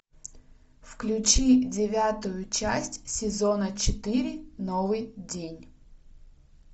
включи девятую часть сезона четыре новый день